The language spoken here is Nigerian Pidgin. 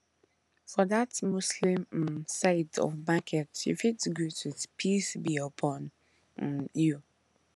for that muslim um side of market you fit greet with peace be upon um you